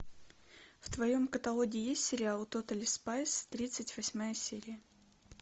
в твоем каталоге есть сериал тотали спайс тридцать восьмая серия